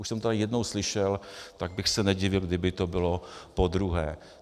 Už jsem to tady jednou slyšel, tak bych se nedivil, kdyby to bylo podruhé.